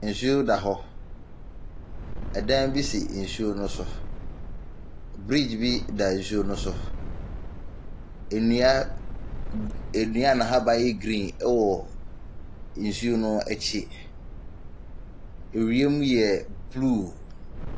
Nsuo da hɔ. Ɛdan bi si nsuo no so. Bridge bi da nsuo no so. Nnua g nnua a n'ahaban yɛ green wɔ nsuo no akyi. Ewiem yɛ blue.